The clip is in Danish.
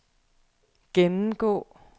gennemgå